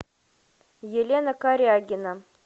елена корягина